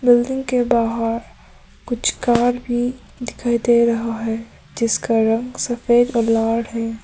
Building के बाहर कुछ कार भी दिखाई दे रहा है जिसका रंग सफेद और लाल है।